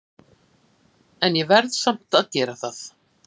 En ég verð samt að gera það.